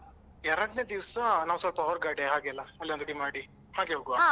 ಎರಡನೇ ದಿವ್ಸ ಅಹ್ ನಾವ್ ಸ್ವಲ್ಪ ಹೊರ್ಗಡೆ ಹಾಗೆಲ್ಲ ಅಲ್ಲಿ ಒಂದು ಮಾಡಿ ಹಾಗೆ ಹೋಗ್ವಾ,